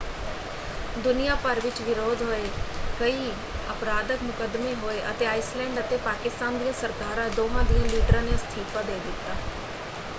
ਦੁਨੀਆ ਭਰ ਵਿੱਚ ਵਿਰੋਧ ਹੋਏ ਕਈ ਅਪਰਾਧਕ ਮੁਕੱਦਮੇ ਹੋਏ ਅਤੇ ਆਈਸਲੈਂਡ ਅਤੇ ਪਾਕਿਸਤਾਨ ਦੀਆਂ ਸਰਕਾਰਾਂ ਦੋਹਾਂ ਦਿਆਂ ਲੀਡਰਾਂ ਨੇ ਅਸਤੀਫਾ ਦੇ ਦਿੱਤਾ।